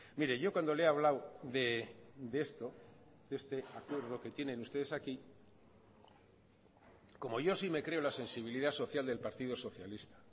mire yo cuando le he hablado de esto que tienen ustedes aquí como yo sí me creo la sensibilidad social del partido socialista